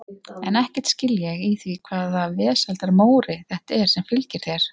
En ekkert skil ég í því hvaða vesældar Móri þetta er sem fylgir þér.